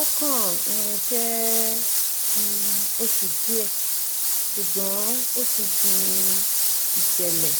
ó kàn um jẹ́ um oṣù díẹ̀ ṣùgbọ́n ó ti di ìṣẹ̀lẹ̀